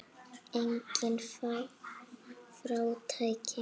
Engin fátækt.